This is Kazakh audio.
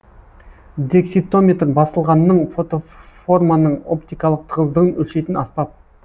декситометр басылғанның фотоформаның оптикалық тығыздығын өлшейтін аспап